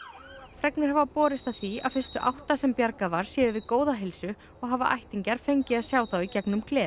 fregnir hafa borist að því að fyrstu átta sem bjargað var séu við góða heilsu og hafa ættingjar fengið að sjá þá í gegnum gler